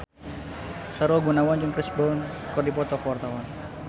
Sahrul Gunawan jeung Chris Brown keur dipoto ku wartawan